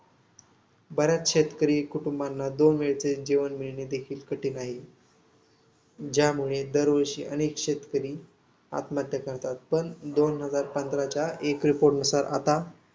बऱ्याच शेतकरी कुटुंबांना दोन वेळचे जेवण मिळणे देखील कठीण आहे. ज्यामुळे दरवर्षी अनेक शेतकरी ्आत्महत्या करतात. तर दोन हजार पंधराच्या एक report नुसार